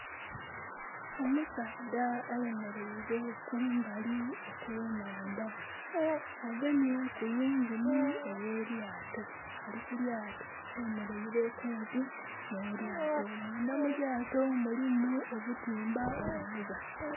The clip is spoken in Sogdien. Omusaadha ayemeraile kumbali okwenandha, agemye ku yingini ey'elyaato, ali ku lyaato. Ayemeraile kumpi n'elyaato. Munda mu lyaato mulimu obutimba obuvuba.